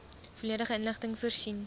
volledige inligting voorsien